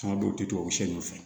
Caman dɔw tɛ tubabu sɛ ninnu fɛ